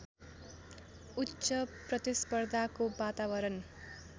उच्च प्रतिस्पर्धाको वातावरण